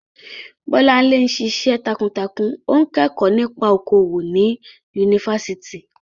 Bolanle ń ṣiṣẹ́ takuntakun, ó ń kẹ́kọ̀ọ́ nípa okòwò ní Yunifásítì.